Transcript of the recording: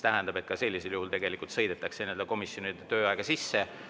Ka sellisel juhul sõidetakse komisjonide tööaega sisse.